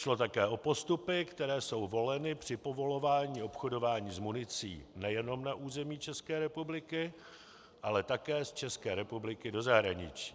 Šlo také o postupy, které jsou voleny při povolování obchodování s municí nejenom na území České republiky, ale také z České republiky do zahraničí.